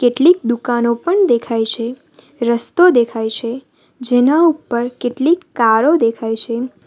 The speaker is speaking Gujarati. કેટલીક દુકાનો પણ દેખાય છે રસ્તો દેખાય છે જેના ઉપર કેટલીક કારો દેખાય છે.